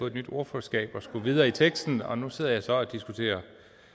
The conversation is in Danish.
et nyt ordførerskab og skulle videre i teksten og nu sidder jeg så og diskuterer